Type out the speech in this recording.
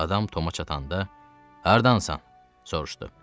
Adam Toma çatanda, “Hardansan?” soruşdu.